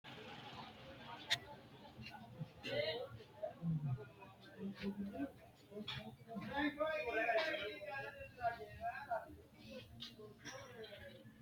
Kowiicho hiito dargi leellanni no ? ulayidi maa lawannoho ? maa xawisse kultanni noote ? kaameru manchi hiisse haarino misileeti?